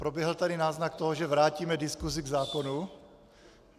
Proběhl tady náznak toho, že vrátíme diskusi k zákonu.